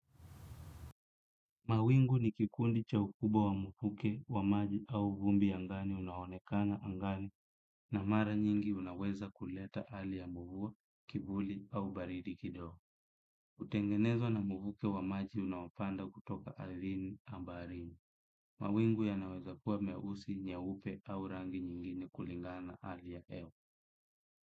Mawingu ni kikundi cha ukubwa wa mfuke wa maji au vumbi angani unaonekana angani na mara nyingi unaweza kuleta alia mvua, kivuli au baridi kidogo. Utengenezwa na mvuke wa maji unaopanda kutoka ardini na barini. Mawingu yanaweza kuwa meusi nyaupe au rangi nyingine kulingana ali ya hewa.